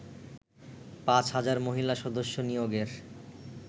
পাঁচ হাজার মহিলা সদস্য নিয়োগের